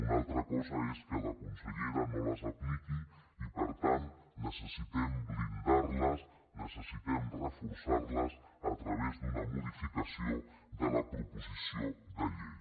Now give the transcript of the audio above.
una altra cosa és que la consellera no les apliqui i per tant que necessitem blindarles necessitem reforçarles a través d’una modificació de la proposició de llei